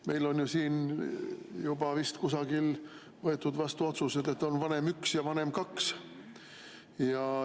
Meil on siin juba vist kusagil võetud vastu otsus, et on vanem 1 ja vanem 2.